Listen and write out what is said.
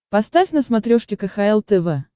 поставь на смотрешке кхл тв